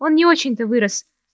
он не очень-то вырос